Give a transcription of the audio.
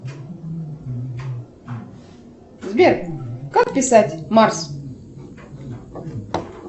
сбер как писать марс